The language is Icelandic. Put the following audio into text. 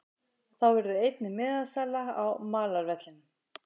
Þá verður einnig miðasala á malarvellinum.